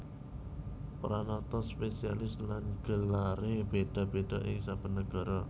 Pranatan spesialiasi lan gelaré béda béda ing saben nagara